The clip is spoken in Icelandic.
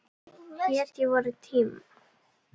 Hetju vorra tíma.